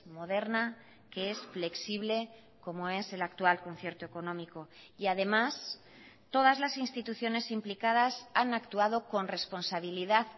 moderna que es flexible como es el actual concierto económico y además todas las instituciones implicadas han actuado con responsabilidad